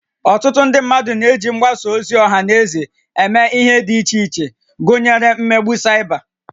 Ọtụtụ ndị mmadụ na-eji mgbasa ozi ọha na eze eme ihe dị iche iche gụnyere imegbu Cyber